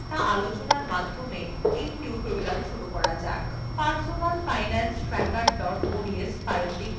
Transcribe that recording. personal finance tracker ods file খুলুন